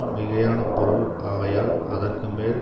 மிகையான பொருள் ஆகையால் அதற்கு மேல்